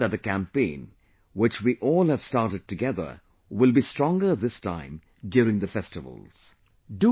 I am sure that the campaign which we all have started together will be stronger this time during the festivals